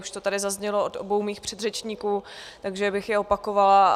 Už to tady zaznělo od obou mých předřečníků, takže bych je opakovala.